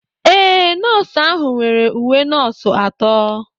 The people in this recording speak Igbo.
Ee, Nọọsụ ahụ nwere uwe nọọsụ atọ.